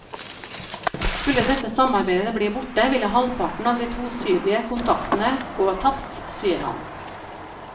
Skulle dette samarbeidet bli borte, ville halvparten av de tosidige kontaktene gå tapt, sier han.